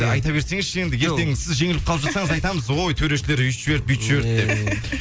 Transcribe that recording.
айта берсеңізші енді ертең сіз жеңіліп қалып жатырсаңыз айтамыз ой төрешілер өйтіп жіберді бүйтіп жіберді деп